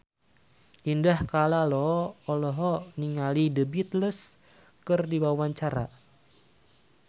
Indah Kalalo olohok ningali The Beatles keur diwawancara